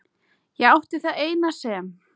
Ég átti það eina sem